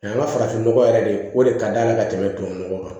A y'an ka farafin nɔgɔ yɛrɛ de o de ka d'a la ka tɛmɛ tubabu nɔgɔ kan